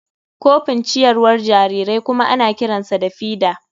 Kofin ciyarwar jarirai kuma ana kiransa feeder.